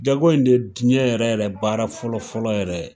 Jago in de ye jiɲɛ yɛrɛ yɛrɛ baara fɔlɔ fɔlɔ yɛrɛ ye.